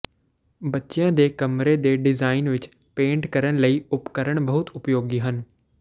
ਬੱਚਿਆਂ ਦੇ ਕਮਰੇ ਦੇ ਡਿਜ਼ਾਇਨ ਵਿੱਚ ਪੇਂਟ ਕਰਨ ਲਈ ਉਪਕਰਣ ਬਹੁਤ ਉਪਯੋਗੀ ਹਨ